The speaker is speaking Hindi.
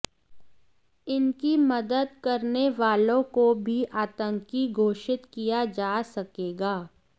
इनकी मदद करने वालों को भी आतंकी घोषित किया जा सकेगा